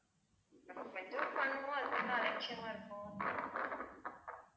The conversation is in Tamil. கொஞ்சம் கொஞ்சம் பண்ணுவோம் அதுக்கப்புறம் அலட்சியமா இருப்போம்